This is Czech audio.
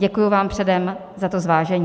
Děkuji vám předem za to zvážení.